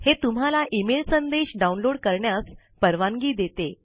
हे तुम्हाला इमेल संदेश डाउनलोड करण्यास परवानगी देते